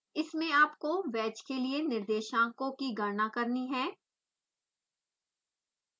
इसमें आपको वैज के लिए निर्देशांकों की गणना करनी है